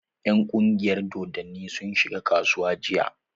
Ƴan ƙungiyar dodonni sun shiga kasuwa jiya.